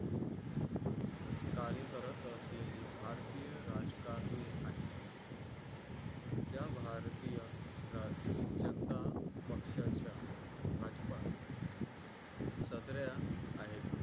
कार्य करत असलेली भारतीय राजकारणी आहे त्या भारतीय जनता पक्षाच्या भाजपा आहेत